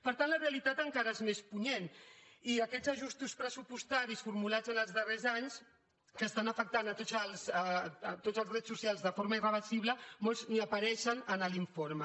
per tant la realitat encara és més punyent i aquests ajustos pressupostaris formulats els darrers anys que estan afectant tots els drets socials de forma irreversible molts ni apareixen en l’informe